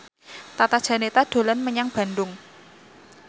Tata Janeta dolan menyang Bandung